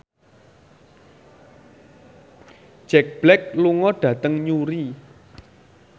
Jack Black lunga dhateng Newry